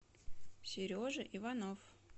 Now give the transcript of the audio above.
сережа иванов